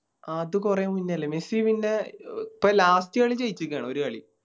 അത് കൊറേ മുന്നെയല്ലേ മെസ്സി ഇപ്പൊ Last കളി ജയിചിക്കാണ് ഒര് കളി